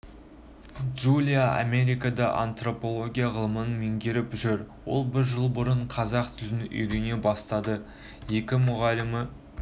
джулия америкада антропология ғылымын меңгеріп жүр ол бір жыл бұрын қазақ тілін үйрене бастады екі мұғалімі